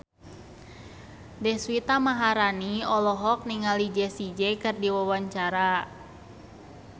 Deswita Maharani olohok ningali Jessie J keur diwawancara